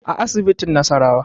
A asibitin nasarawa